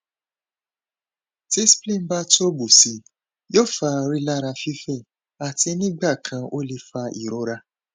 ti spleen ba tobu sii yoo fa rilara fifẹ ati nigbakan o le fa irora